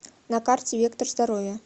на карте вектор здоровья